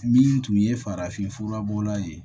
Min tun ye farafinfura bɔla ye